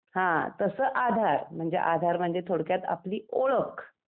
हं , तसं आधार! म्हणजे आधार म्हणजे थोडक्यात आपली ओळख .